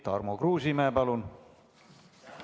Tarmo Kruusimäe, palun!